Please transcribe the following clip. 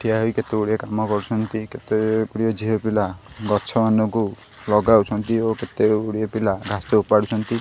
ଠିଆ ହୋଇ କେତେଗୁଡ଼ିଏ କାମ କରୁଛନ୍ତି କେତେଗୁଡ଼ିଏ ଝିଅପିଲା ଗଛମାନଙ୍କୁ ଲଗାଉଛନ୍ତି ଓ କେତେଗୁଡ଼ିଏ ପିଲା ଘାସ ଉପାଡୁଛନ୍ତି।